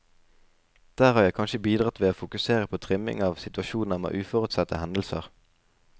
Der har jeg kanskje bidratt ved å fokusere på trimming av situasjoner med uforutsette hendelser.